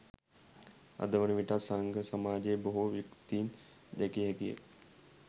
අදවන විටත් සංඝ සමාජයේ බොහෝ විකෘතීන් දැකිය හැකිය